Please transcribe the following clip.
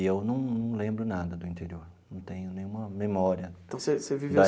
E eu não não lembro nada do interior, não tenho nenhuma memória. Então você você viveu. Da